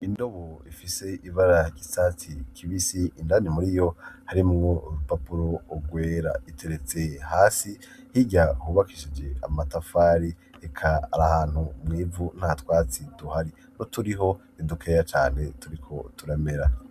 Indobo ifise ibara ry'icatsi kibisi, indani muri yo harimwo urupapuro rwera, iteretse hasi. Hirya hubakishije amatafari, eka iri ahantu mw'ivu nta twatsi tuhari, n'uturiho ni dukeya cane turiko turamera.